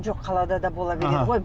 жоқ қалада да бола береді ғой аха